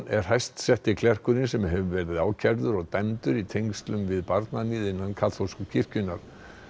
er hæst setti klerkurinn sem hefur verið ákærður og dæmdur í tengslum við barnaníð innan kaþólsku kirkjunnar